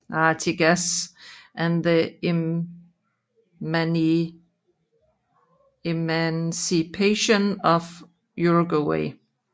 Artigas and the Emancipation of Uruguay